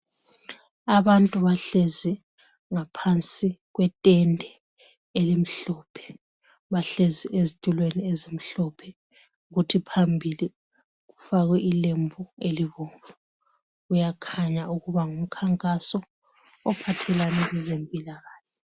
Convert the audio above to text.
Abantu bahlezi ngaphansi kwetende elimhlophe bahlezi ezitulweni ezimhlophe kuthi phambili kufakwe ilembu elibomvu kuyakhanya ukuba ngumkhankaso ophathelane lezempilakahle .